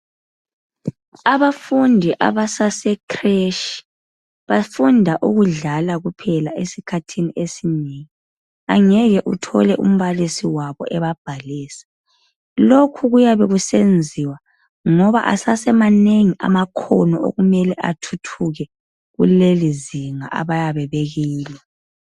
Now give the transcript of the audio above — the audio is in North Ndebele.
Abafundi abasasekreshi bafunda ukudlala kuphela esikhathini esinengi. Angeke uthole umbalisi wabo ebabhalisa. Lokhu kuyabe kusenziwa ngoba asasemanengi amakhono okumele athuthuke kulelizinga abayabe bekilo.